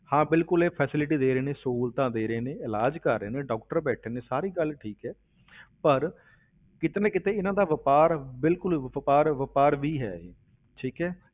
ਹਾਂ ਬਿਲਕੁਲ ਇਹ facility ਦੇ ਰਹੇ ਨੇ, ਸਹੂਲਤਾਂ ਦੇ ਰਹੇ, ਇਲਾਜ਼ ਕਰ ਰਹੇ ਨੇ doctor ਬੈਠੇ ਨੇ ਸਾਰੀ ਗੱਲ ਠੀਕ ਹੈ ਪਰ ਕਿਤੇ ਨਾ ਕਿਤੇ ਇਹਨਾਂ ਦਾ ਵਾਪਾਰ, ਬਿਲਕੁਲ ਵਾਪਾਰ ਵਾਪਾਰ ਵੀ ਹੈ ਇਹ, ਠੀਕ ਹੈ।